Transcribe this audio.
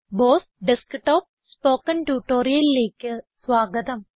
boss desktop spoken ട്യൂട്ടോറിയലിലേക്ക് സ്വാഗതം